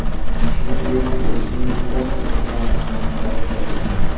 Shuningdek, Losiniy ostrov tumanida ham qor kuzatilgan.